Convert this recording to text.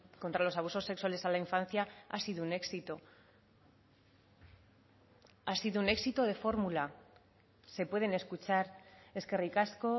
contra los abusos sexuales a la infancia ha sido un éxito ha sido un éxito de fórmula se pueden escuchar eskerrik asko